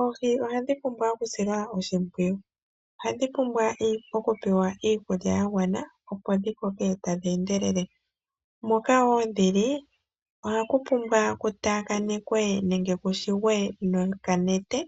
Oohi ohadhi pumbwa okusilwa oshipwiyu, ohadhi pumbwa okupewa iikulya ya gwana, opo dhi koke tadhi endelele. Moka dhi li ohaku taakanekwa nenge ku shigwe nokanete